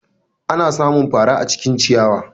Ana samun faran acikin ciyawa.